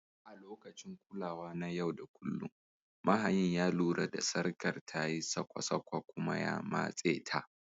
A lokacin kulawa na yau da kullun, mahayin ya lura da sarkar tayi sakwa sakwa kuma ya matse ta.